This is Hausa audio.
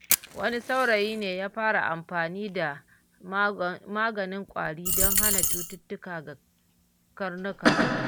Wani saurayi ya fara amfani da maganin ƙwari don hana cututtuka ga karnukansa.